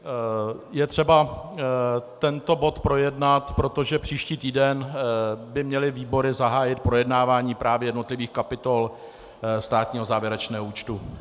Je třeba tento bod projednat, protože příští týden by měly výbory zahájit projednávání právě jednotlivých kapitol státního závěrečného účtu.